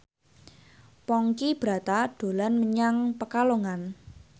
Ponky Brata dolan menyang Pekalongan